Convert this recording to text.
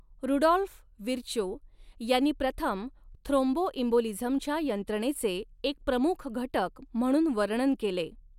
Rudolph Virchow यांनी प्रथम थ्रोम्बोइम्बोलिझमच्या यंत्रणेचे एक प्रमुख घटक म्हणून वर्णन केले.